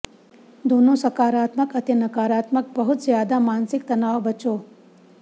ਦੋਨੋ ਸਕਾਰਾਤਮਕ ਅਤੇ ਨਕਾਰਾਤਮਕ ਬਹੁਤ ਜ਼ਿਆਦਾ ਮਾਨਸਿਕ ਤਣਾਅ ਬਚੋ